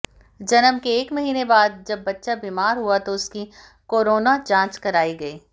जन्म के एक महिने बाद जब बच्चा बीमार हुआ तो उसकी कोरोना जांच कराई गई